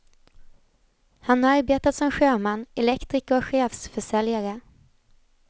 Han har arbetat som sjöman, elektriker och chefsförsäljare.